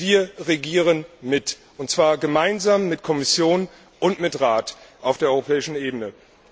Wir regieren mit, und zwar gemeinsam mit der Kommission und mit dem Rat auf der europäischen Ebene.